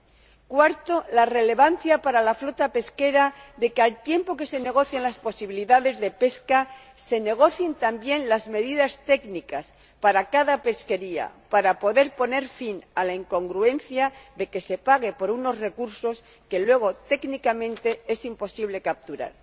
En cuarto lugar, la relevancia para la flota pesquera de que, al tiempo que se negocian las posibilidades de pesca, se negocien también las medidas técnicas para cada pesquería, para poder poner fin a la incongruencia de que se pague por unos recursos que luego, técnicamente, es imposible capturar.